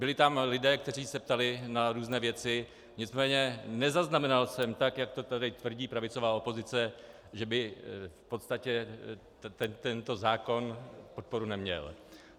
Byli tam lidé, kteří se ptali na různé věci, nicméně nezaznamenal jsem tak, jak to tady tvrdí pravicová opozice, že by v podstatě tento zákon podporu neměl.